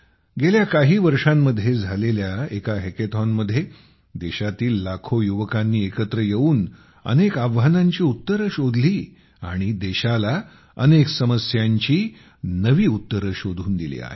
गेल्या काही वर्षांमध्ये झालेल्या एका हॅकेथॉनमध्ये देशातील लाखो युवकांनी एकत्र येऊन अनेक आव्हानांची उत्तरे शोधली आणि देशाला अनेक समस्यांची नवी उत्तरे शोधून दिली आहेत